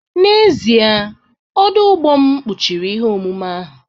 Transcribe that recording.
N'ezie, ọdụ ụgbọ m kpuchiri ihe omume ahụ